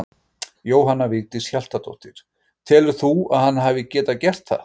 Jóhanna Vigdís Hjaltadóttir: Telur þú að hann hefði getað gert það?